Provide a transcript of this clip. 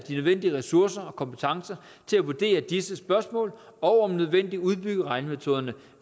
nødvendige ressourcer og kompetencer til at vurdere disse spørgsmål og om nødvendigt udbygge regnemetoderne